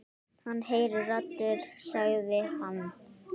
Hann heyrir raddir sagði hann.